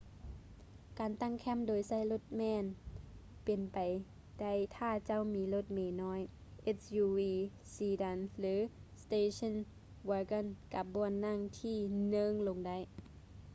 ການຕັ້ງແຄ້ມໂດຍໃຊ້ລົດແມ່ນເປັນໄປໄດ້ຖ້າເຈົ້າມີລົດເມນ້ອຍ suv sedan ຫຼື station wagon ກັບບ່ອນນັ່ງທີ່ເນີ້ງລົງໄດ້